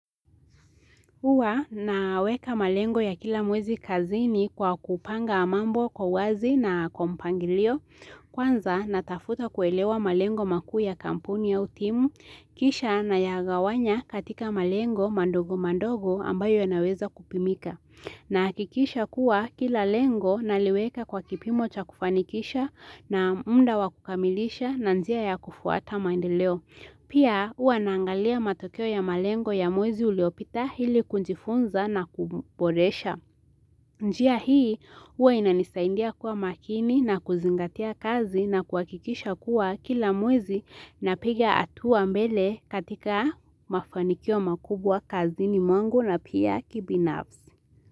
Huwa naweka malengo ya kila mwezi kazini kwa kupanga mambo kwa uwazi na kwa mpangilio. Kwanza natafuta kuelewa malengo makuu ya kampuni au timu, kisha nayagawanya katika malengo mandogo mandogo ambayo yanaweza kupimika. Nahakikisha kuwa kila lengo naliweka kwa kipimo cha kufanikisha na muda wa kukamilisha na njia ya kufuata maendeleo. Pia huwa naangalia matokeo ya malengo ya mwezi uliopita ili kujifunza na kuboresha. Njia hii huwa inanisaidia kuwa makini na kuzingatia kazi na kuhakikisha kuwa kila mwezi napiga hatua mbele katika mafanikio makubwa kazini mwangu na pia kibinafsi.